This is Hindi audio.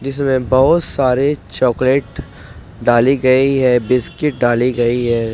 जिसमे बहोत सारे चॉकलेट डाली गई है बिस्किट डाली गई है।